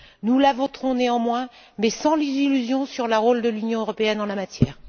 Nous la voterons néanmoins, mais sans illusion sur le rôle de l'Union européenne en la matière.